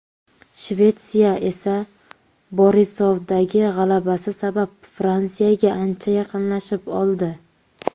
Shvetsiya esa Borisovdagi g‘alabasi sabab Fransiyaga ancha yaqinlashib oldi.